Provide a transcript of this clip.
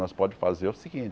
Nós pode fazer é o seguinte,